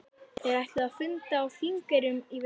Þeir ætluðu að funda á Þingeyrum í vetur.